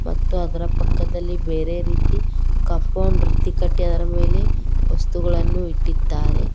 ಮತ್ತು ಅದರ ಪಕ್ಕದಲ್ಲಿ ಬೇರೆ ರೀತಿ ಕಾಂಪೌಂಡ್ ರೀತಿ ಕಟ್ಟಿ ಅದರ ಮೇಲೆ ವಸ್ತುಗಳನ್ನು ಇಟ್ಟಿದ್ದಾರೆ.